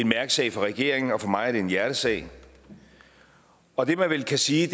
mærkesag for regeringen og for mig er det en hjertesag og det man vel kan sige